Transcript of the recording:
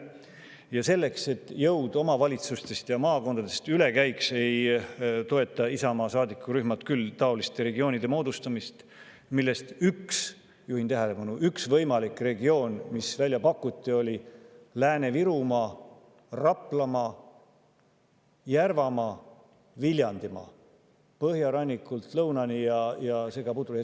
" Ja selleks, et jõud omavalitsustest ja maakondadest üle käiks, ei toeta Isamaa saadikurühm küll taoliste regioonide moodustamist, millest üks – juhin tähelepanu –, üks võimalik regioon, mis välja pakuti, oli Lääne‑Virumaa, Raplamaa, Järvamaa ja Viljandimaa – põhjarannikult lõunani, selline segapudru.